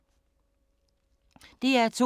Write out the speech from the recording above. DR2